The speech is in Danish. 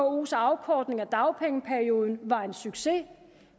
vkos afkortning af dagpengeperioden var en succes